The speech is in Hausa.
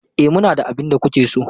E, muna da abin da kuke so.